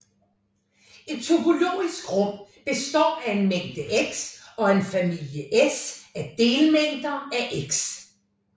Et topologisk rum består af en mængde X og en familie S af delmængder af X